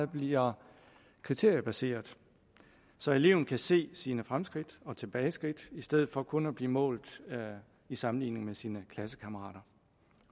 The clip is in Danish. bliver kriteriebaseret så eleven kan se sine fremskridt og tilbageskridt i stedet for kun at blive målt i sammenligning med sine klassekammerater